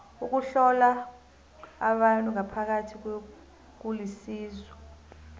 ukuhlola abantu ngaphakathi kulisizo